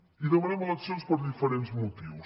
i demanem eleccions per diferents motius